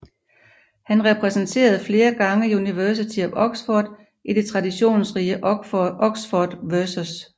Han repræsenterede flere gange University of Oxford i det traditionsrige Oxford vs